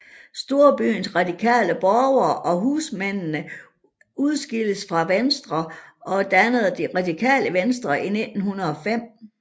Storbyens radikale borgere og husmændene udskiltes fra Venstre og dannede Det Radikale Venstre i 1905